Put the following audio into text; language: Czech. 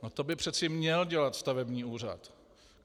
No to by přece měl dělat stavební úřad.